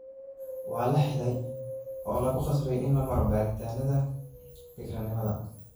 Waa la xidhay oo lagu qasbay in la maro baadhitaanada bikranimada